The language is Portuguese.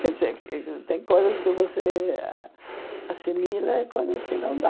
Quer dizer, ugh ugh tem coisas que você assimila e coisas que não dá.